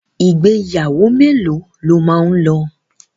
Ìgbéyàwó mélòó lo máa lọ?